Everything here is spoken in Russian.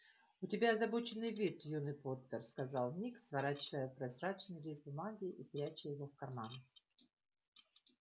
у тебя озабоченный вид юный поттер сказал ник сворачивая прозрачный лист бумаги и пряча его в карман